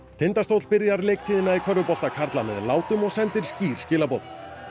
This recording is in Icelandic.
Tindastóll byrjar leiktíðina í körfubolta karla með látum og sendir skýr skilaboð